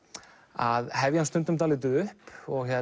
að hefja hann stundum dálítið upp og